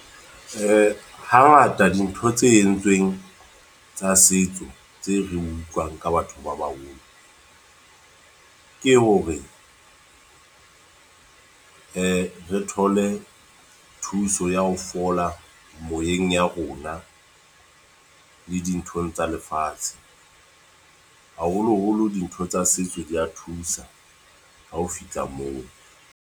Hangata dintho tse entsweng, tsa setso. Tse re utlwang ka batho ba baholo. Ke hore re thole thuso ya ho fola moyeng ya rona, le dinthong tsa lefatshe. Haholo-holo dintho tsa setso di ya thusa. Ha o fihla moo.